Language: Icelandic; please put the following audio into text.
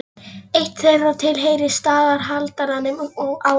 Eitt þeirra tilheyrir staðarhaldaranum á Núpi.